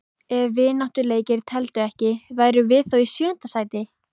Ef vináttuleikir teldu ekki, værum við þá í sjöunda sæti?